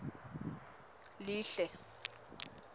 lihle